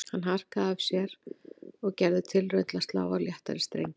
Hann harkaði af sér og gerði tilraun til að slá á léttari strengi